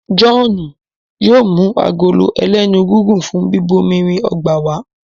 John yóò mú Agolo ẹlẹ́nu gígùn fún bíbomirin ọgbà wá.